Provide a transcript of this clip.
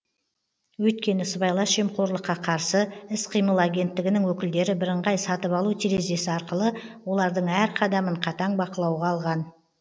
өйткені сыбайлас жемқорлыққа қарсы іс қимыл агенттігінің өкілдері бірыңғай сатып алу терезесі арқылы олардың әр қадамын қатаң бақылауға алған